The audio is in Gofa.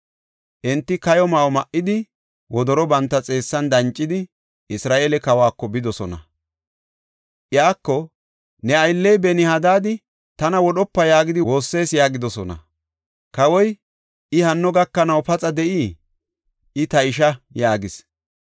Enti kayo ma7o ma7idi, wodoro banta xeessan dancidi, Isra7eele kawako bidosona. Iyako “Ne aylley Benihadad, tana wodhopa yaagidi woossees” yaagidosona. Kawoy, “I hanno gakanaw paxa de7ii? I ta ishaa” yaagis.